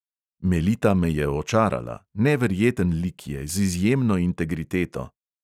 Melita me je očarala, neverjeten lik je, z izjemno integriteto.